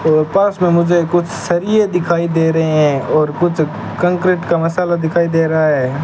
और पास में मुझे कुछ सरिये दिखाई दे रहे हैं और कुछ कंक्रीट का मसाला दिखाई दे रहा है।